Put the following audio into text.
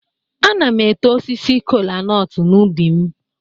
Ana m eto osisi kola-nut n'ubi m.